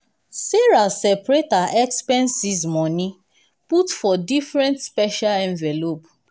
sarah seperate her expenses money put for different special envelope.